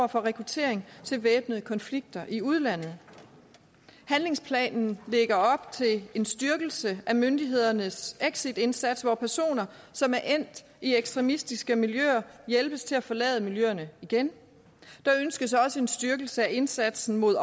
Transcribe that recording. rekruttering til væbnede konflikter i udlandet handlingsplanen lægger op til en styrkelse af myndighedernes exitindsats så personer som er endt i ekstremistiske miljøer hjælpes til at forlade miljøerne igen der ønskes også en styrkelse af indsatsen mod